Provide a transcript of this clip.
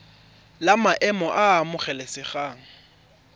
la maemo a a amogelesegang